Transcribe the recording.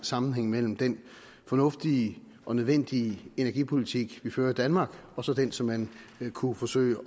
sammenhæng mellem den fornuftige og nødvendige energipolitik vi fører i danmark og så den som man kunne forsøge